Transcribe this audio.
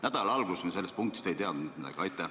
Nädala alguses me sellest punktist ei teadnud mitte midagi.